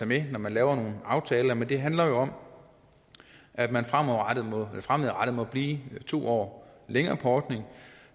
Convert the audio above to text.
med når man laver nogle aftaler men det handler jo om at man fremadrettet må blive to år mere på ordningen